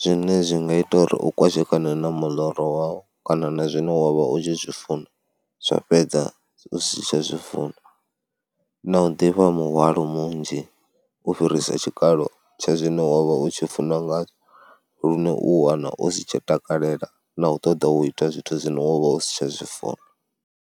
zwine zwi nga ita uri u kwashekana na muḽoro wau kana na zwine wa vha u tshi zwi funa, zwa fhedza u si tsha zwi funa. Na u ḓivha muhwalo munzhi u fhirisa tshikalo tsha zwine wa vha u tshi funa nga lune u wana u si tsha takalela na u ṱoḓa u ita zwithu zwine wo vha u si tsha zwi funa.